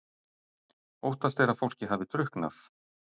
Óttast er að fólkið hafi drukknað